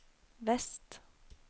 vest